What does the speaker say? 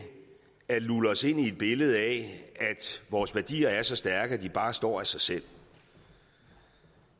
at lulle os ind i et billede af at vores værdier er så stærke at de bare står af sig selv